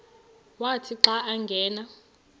wathi xa angena